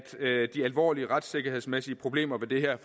de alvorlige retssikkerhedsmæssige problemer i det her